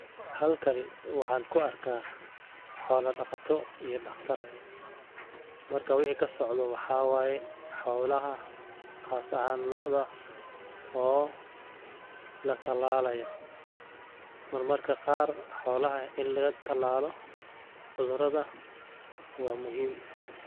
Halkani waxaan ku arkaa xoolo dhakhato iyo dhakhtar. Marka way kasocdo, waxaa waaye xoolaha khaas ahan lo'da oo la talaalayo. Mar marka qaar xoolaha in laga talaalo cudurada waa muhiim.